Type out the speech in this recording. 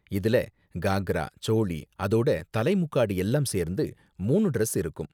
இதுல காக்ரா, சோளி, அதோட தலை முக்காடு எல்லாம் சேர்ந்து மூணு டிரஸ் இருக்கும்.